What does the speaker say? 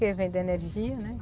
Que vendem energia, né?